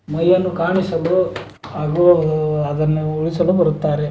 ಮೈಯನ್ನು ಕಾಣಿಸಲು ಹಾಗು ಅದನ್ನು ಉಳಿಸಲು ಬರುತ್ತಾರೆ.